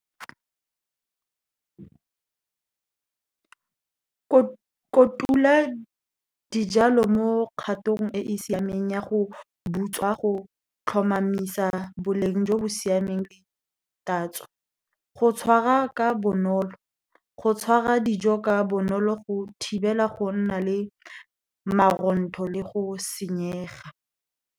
Kotula dijalo mo kgatong e e siameng ya go butswa, go tlhomamisa boleng jo bo siameng le tatso. Go tshwara ka bonolo, go tshwara dijo ka bonolo go thibela go nna le marontho le go senyega.